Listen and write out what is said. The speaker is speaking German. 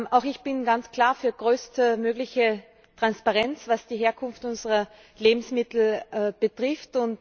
Auch ich bin ganz klar für größtmögliche Transparenz, was die Herkunft unserer Lebensmittel betrifft.